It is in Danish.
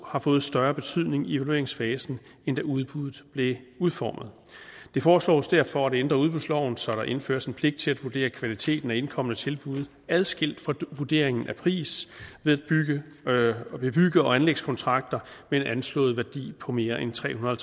har fået større betydning i evalueringsfasen end da udbuddet blev udformet det foreslås derfor at ændre udbudsloven så der indføres en pligt til at vurdere kvaliteten af indkomne tilbud adskilt fra vurderingen af prisen ved bygge ved bygge og anlægskontrakter med en anslået værdi på mere end tre hundrede